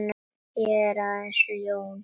Ég er ekki aðeins ljón.